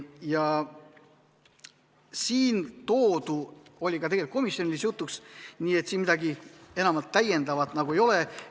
Siin toodu oli ka komisjonis jutuks, siin midagi enamat nagu ei ole.